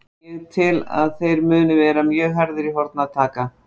Ég tel að þeir muni vera mjög harðir í horn að taka.